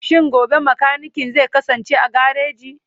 Shin gobe mekanikin zai kasance a gareji?